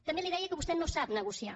també li deia que vostè no sap negociar